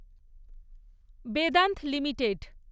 Vedanta limited